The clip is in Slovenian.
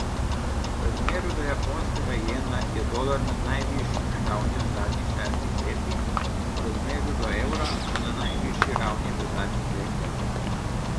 V razmerju do japonskega jena je dolar na najvišji ravni v zadnjih šestih letih, v razmerju do evra pa na najvišji ravni v zadnjih dveh letih.